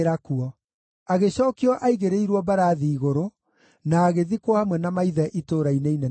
Agĩcookio aigĩrĩirwo mbarathi igũrũ, na agĩthikwo hamwe na maithe Itũũra-inĩ Inene rĩa Juda.